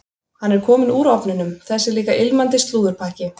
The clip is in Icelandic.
Hann er kominn úr ofninum, þessi líka ilmandi slúðurpakki.